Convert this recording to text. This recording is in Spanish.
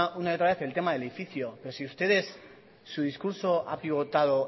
una y otra vez el tema del edificio pero si su discurso ha pivotado